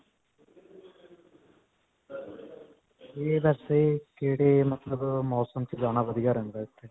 ਇਹ ਵੈਸੇ ਕਿਹੜੇ ਮਤਲਬ ਮੌਸਮ 'ਚ ਜਾਣਾ ਵਧੀਆ ਰਹਿੰਦਾ ਇੱਥੇ?